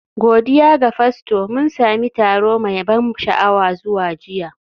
Godiya ga Fasto, mun sami taro mai ban sha'awa zuwa jiya